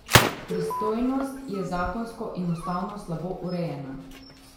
Pristojnost je zakonsko in ustavno slabo urejena.